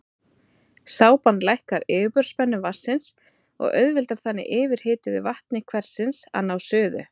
Sápan lækkar yfirborðsspennu vatnsins og auðveldar þannig yfirhituðu vatni hversins að ná suðu.